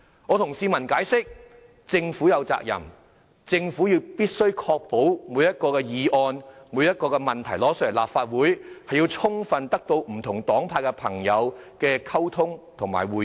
我向市民解釋政府有責任確保須就每項向立法會提交的議案及問題與不同黨派的朋友充分溝通及會面。